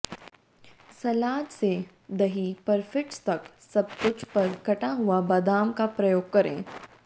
सलाद से दही परफिट्स तक सबकुछ पर कटा हुआ बादाम का प्रयोग करें